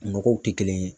Nɔgɔw tɛ kelen ye